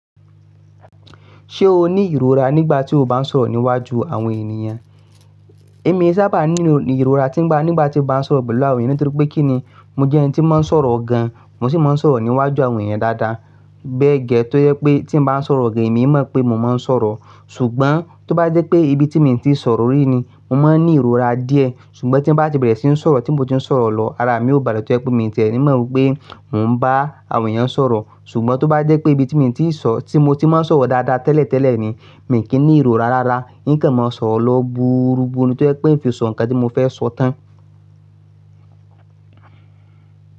Ṣé o ní ìrora nígbà tí o bá ń sọ̀rọ̀ níwájú àwọn ènìyàn? Èmi sábà ní ìrora nígbà tí mò ń bá sọ̀rọ̀ pẹ̀lú àwọn ènìyàn, nítorí pé kí ni, mo jẹ́ ẹni tí máa ń sọ̀rọ̀ gan, mo sì máa ń sọ̀rọ̀ níwájú àwọn ènìyàn dáadáa, bẹ́gẹ́ tó yẹ pé tí mò ń bá sọ̀rọ̀ gan, èmi mọ̀ pé mò ń má sọ̀rọ̀. Ṣùgbọ́n tó bá jẹ́ pé ibi tí mo ti ń sọ̀rọ̀ rí ni, mo máa ń ní ìrora díẹ̀. Ṣùgbọ́n tí bá ti bẹ̀rẹ̀ sí ń sọ̀rọ̀, tí mo ti ń sọ̀rọ̀ lọ, ara mi ó bàlẹ́ tó jẹ́ pé mi tẹ̀ẹ́ ní mọ̀ pé mò ń bá àwọn ènìyàn sọ̀rọ̀. Ṣùgbọ́n tó bá jẹ́ pé ibi tí mo ti sọ, tí mo ti má sọ̀rọ̀ dáadáa tẹ́lẹ̀tẹ́lẹ̀ ni, mi kì í ní ìrora rárá, n kan mọ sọ̀rọ̀ lọ búúrubúù tó jẹ́ pé ń fi sọ nǹkan tí mo fẹ́ sọ tán.